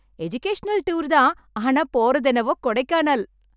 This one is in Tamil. எஜுகேஷனல் டூர் தான், ஆனா போறது என்னவோ கொடைக்கானல்!